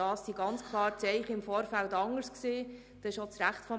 Die Zeichen im Vorfeld sahen ganz klar anders aus.